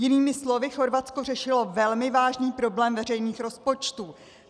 Jinými slovy, Chorvatsko řešilo velmi vážný problém veřejných rozpočtů.